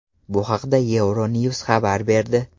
Bu haqda EuroNews xabar berdi .